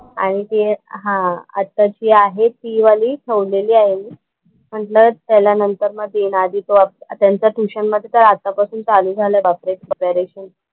आणि ते हा आताची आहे ती वाली ठेवलेली आहे मी. म्हंटलं त्याला नंतर मग देईन. आधी तो त्यांच्या ट्युशन मध्ये तर आता पासून चालू झालंय बापरे प्रिपरेशन.